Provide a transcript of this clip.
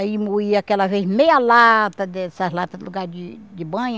Aí moía aquela vez meia lata dessas latas com bocado de de banha.